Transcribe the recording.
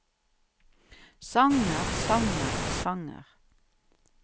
sanger sanger sanger